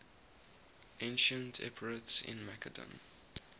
ancient epirotes in macedon